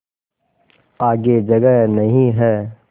आगे जगह नहीं हैं